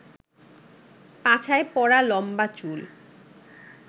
পাছায় পড়া লম্বা চুল